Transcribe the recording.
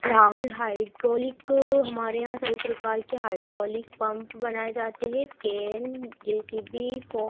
Rahul hydraulic हमारे यहां सभी प्रकार के हाइड्रोलिक पंप बनाए जाते हैं। केन जे_सी_पी --